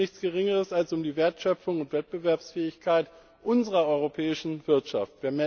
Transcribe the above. Es geht um nichts Geringeres als um die Wertschöpfung und Wettbewerbsfähigkeit unserer europäischen Wirtschaft.